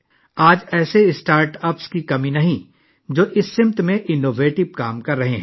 آج ایسے startups کی کمی نہیں ہے جو اس سمت میں اختراعی کام کررہے ہیں